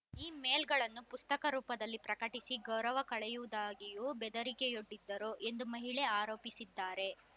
ಈ ಮೇಲ್‌ಗಳನ್ನು ಪುಸ್ತಕ ರೂಪದಲ್ಲಿ ಪ್ರಕಟಿಸಿ ಗೌರವ ಕಳೆಯುವುದಾಗಿಯೂ ಬೆದರಿಕೆಯೊಡ್ಡಿದ್ದರು ಎಂದು ಮಹಿಳೆ ಆರೋಪಿಸಿದ್ದಾರೆ